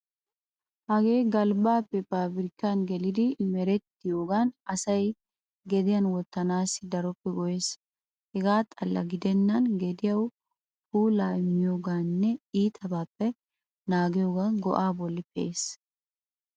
Hagee galbbaappe paabirkkan gelidi merettiyogan asay gediyan wottanaassi daroppe go'ees. Hegaa xalla gidennan gediyawu puulaa immiyoogaaninne itabaappe naagiyogan go'aa bollan pee'ees.